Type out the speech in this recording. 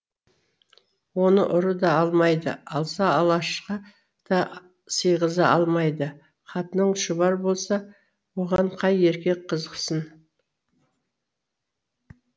оны ұры да алмайды алса алашқа да сиғыза алмайды қатының шұбар болса оған қай еркек қызықсын